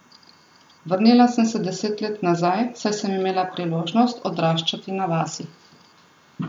Vrnila sem se deset let nazaj, saj sem imela priložnost odraščati na vasi.